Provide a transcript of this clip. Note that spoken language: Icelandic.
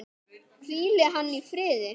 Hvíli hann í friði!